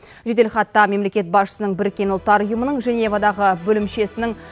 жеделхатта мемлекет басшысының біріккен ұлттар ұйымының женевадағы бөлімшесінің